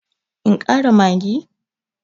In ƙara maggi?